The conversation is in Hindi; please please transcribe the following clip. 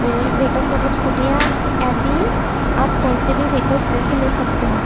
महल व्हीकल्स मतलब स्कूटियाँ आदि आप कौन से भी व्हीकल्स इधर से ले सकते हैं।